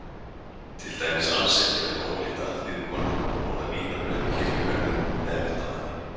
Til dæmis alls ekki að vera ólétt alþýðukona að borða vínarbrauð í kirkjugarðinum með ektamanni.